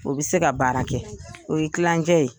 O bɛ se ka baara kɛ o ye klancɛ ye.